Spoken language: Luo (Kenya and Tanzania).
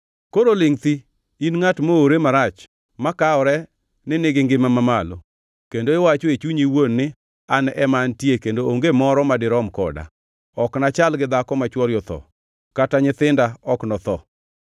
“Koro lingʼ thi, in ngʼat moowre marach makawore ni nigi ngima mamalo, kendo iwacho e chunyi iwuon ni, ‘An ema antie kendo onge moro ma dirom koda, ok nachal gi dhako ma chwore otho kata nyithinda ok notho.’